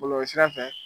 Bɔlɔlɔsira fɛ